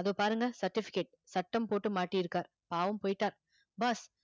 அதோ பாருங்க certificate சட்டம் போட்டு மாட்டிருக்கார் பாவம் போயிட்டார் boss